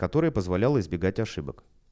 который позволял избегать ошибок